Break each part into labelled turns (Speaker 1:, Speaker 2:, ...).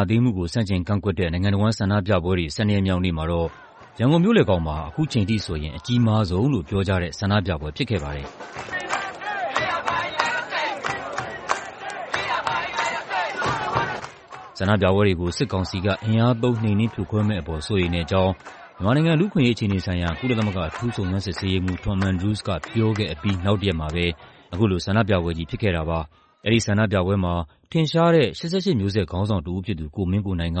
Speaker 1: ာသိမ်းမှုကို ဆန့်ကျင်ကန့်ကွက်တဲ့ နိုင်ငံတဝန်း ဆန္ဒပြပွဲတွေ ၁၂ ရက်မြောက်နေ့မှာတော့ ရန်ကုန်မြို့လည်ခေါင်မှာ ခုချိန်ထိဆိုရင် အကြီးမားဆုံးလို့ပြောကြတဲ့ ဆန္ဒပြပွဲဖြစ်ခဲ့ပါတယ်။ ဆန္ဒပြပွဲတွေကို စစ်ကောင်စီက အင်အားသုံး နှိမ်နင်းဖြိုခွဲမယ့်အပေါ် စိုးရိမ်တဲ့အကြောင်း မြန်မာနိုင်ငံ လူ့အခွင့်အရေးအခြေအနေဆိုင်ရာ ကုလသမဂ္ဂ အထူးစုံစမ်းစစ်ဆေးရေးမှူး Tom Andrews က ပြောခဲ့အပြီး နောက်တစ်ရက်မှာပဲ အခုလို ဆန္ဒပြပွဲကြီးဖြစ်ခဲ့တာပါ။ အဲဒီဆန္ဒပြပွဲမှာ ထင်ရှားတဲ့ ၈၈ မျိုးဆက် ခေါင်းဆောင်တစ်ဦးဖြစ်သူ ကိုမင်းကိုနိုင်က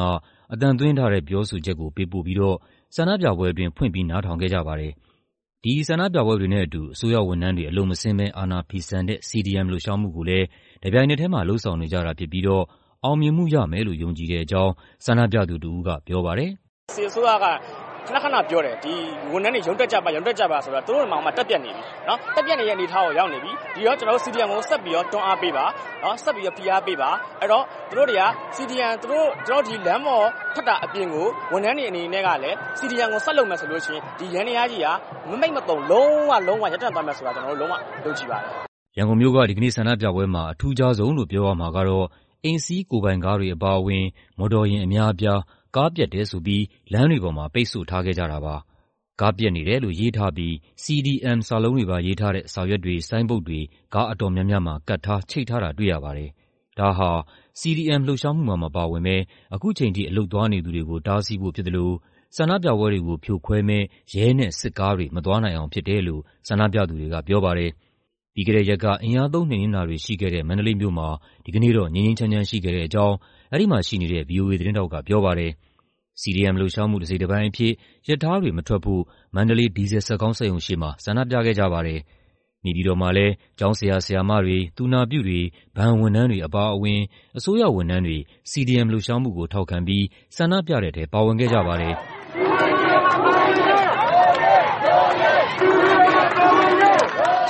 Speaker 1: အသံသွင်းထားတဲ့ ပြောဆိုချက်ကို ပေးပို့ပြီးတော့ ဆန္ဒပြပွဲအတွင်း ဖွင့်ပြီး နားထောင်ခဲ့ကြပါတယ်။ ဒီဆန္ဒပြပွဲတွေနဲ့အတူ အစိုးရဝန်ထမ်းတွေ အလုပ်မဆင်းဘဲ အာဏာဖီဆန်တဲ့ CDM လှုပ်ရှားမှုကိုလည်း တပြိုင်နက်ထဲမှာ လုပ်ဆောင်နေကြတာဖြစ်ပြီးတော့ အောင်မြင်မှုရမယ်လို့ ယုံကြည်တဲ့အကြောင်း ဆန္ဒပြသူတစ်ဦးက ပြောပါတယ်
Speaker 2: ။ "စစ်အစိုးရက ခနခနပြောတယ် ။ ဝန်ထမ်းတွေရုံးတက်ကြပါ။ ရုံးတက်ကြပါဆိုပြီ။ သူတို့တောင်မှ တပ်ပျက်နေပြီ။ ဒီတော့ကျနော်တို့ CDM ကိုဆက်ပြီး တွန်းအားပေးပါ။ ဆက်ပြီဖိအားပေးပါ။ သူတို့လမ်းပေါ်ထွက်တာအပြင်ကို ဝန်ထမ်းတွေအနေနဲ့ကလည်း CDM ကိုဆက်လုပ်မယ်ဆိုလို့ရှိရင် ဒီယန္တယားကြီးက လုံးဝရပ်တန့်သွားမယ်ဆိုတာ ကျနော်တို့လုံးဝယုံကြည်ပါတယ်။
Speaker 1: " ရန်ကုန်မြို့က ဒီကနေ့ဆန္ဒပြပွဲမှာ အထူးခြားဆုံးလို့ပြောရမှာကတော့ အိမ်စီးကိုယ်ပိုင်ကားတွေအပါအဝင် မော်တော်ယာဉ်အများအပြား ကားပျက်တယ်ဆိုပြီး လမ်းတွေပေါ်မှာ ပိတ်ဆို့ထားခဲ့ကြတာပါ။ ကားပျက်နေတယ်လို့ရေးထားပြီး CDM စာလုံးတွေပါရေးထားတဲ့ စာရွက်တွေ၊ ဆိုင်းဘုတ်တွေ ကားအတော်များများမှာ ကပ်ထား ချိတ်ထားတာတွေ့ရပါတယ်။ ဒါဟာ CDM လှုပ်ရှားမှုမှာမပါဝင်ဘဲ ခုချိန်ထိ အလုပ်သွားနေသူတွေကို တားဆီးဖို့ဖြစ်သလို ဆန္ဒပြပွဲတွေကိုဖြိုခွဲမယ့် ရဲနဲ့စစ်ကားတွေ မသွားနိုင်အောင်ဖြစ်တယ်လို့ ဆန္ဒပြသူတွေကပြောပါတယ်။ ပြီးခဲ့တဲ့ရက်က အင်အားသုံးနှိမ်နင်းတာတွေရှိခဲ့တဲ့ မန္တလေးမြို့မှာ ဒီကနေ့တော့ ငြိမ်းငြိမ်းချမ်းချမ်း ရှိခဲ့တဲ့အကြောင်း အဲဒီမှာရှိနေတဲ့ ဗွီအိုအေသတင်းထောက်ကပြောပါတယ်။ CDM လှုပ်ရှားမှုတစိတ်တပိုင်းအဖြစ် ရထားတွေမထွက်ဖို့ မန္တလေး ဒီဇယ်စက်ခေါင်းစက်ရုံရှေ့မှာ ဆန္ဒပြခဲ့ကြပါတယ်။ နေပြည်တော်မှာလည်း ကျောင်းဆရာ ဆရာမတွေ၊ သူနာပြုတွေ၊ ဘဏ်ဝန်ထမ်းတွေအပါအဝင် အစိုးရဝန်ထမ်းတွေ CDM လှုပ်ရှားမှုကို ထောက်ခံပြီး ဆန္ဒပြတဲ့ထဲ ပါဝင်ခဲ့ကြပါတယ်။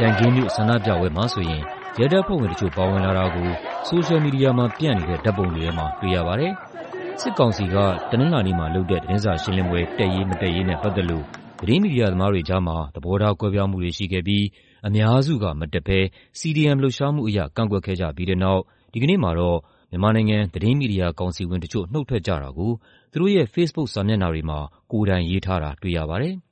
Speaker 1: ကြံခင်းမြို့ ဆန္ဒပြပွဲမှာဆိုရင် ရဲတပ်ဖွဲ့ဝင်တချို့ ပါဝင်လာတာကို ဆိုရှယ်မီဒီယာမှာပျံ့နေတဲ့ ဓာတ်ပုံတွေထဲမှာ တွေ့ရပါတယ်။ စစ်ကောင်စီက တနင်္လာနေ့မှာလုပ်တဲ့ သတင်းစာရှင်းလင်းပွဲ တက်ရေးမတက်ရေးနဲ့ပတ်သက်လို့ သတင်းမီဒီယာသမားတွေကြားမှာ သဘောထားကွဲပြားမှုတွေရှိခဲ့ပြီး အများစုက မတက်ဘဲ CDM လှုပ်ရှားမှုအရ ကန့်ကွက်ခဲ့ကြပြီးတဲ့နောက် ဒီကနေ့မှာတော့ မြန်မာနိုင်ငံ သတင်းမီဒီယာကောင်စီဝင်တချို့ နုတ်ထွက်ကြတာကို သူတို့ရဲ့ ဖေ့စ်ဘုတ်စာမျက်နှာတွေမှာ ကိုယ်တိုင်ရေးထားတာတွေ့ရပါတယ်။